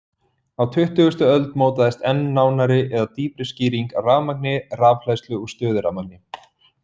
Á tuttugustu öld mótaðist enn nánari eða dýpri skýring á rafmagni, rafhleðslu og stöðurafmagni.